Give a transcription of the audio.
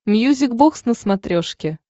мьюзик бокс на смотрешке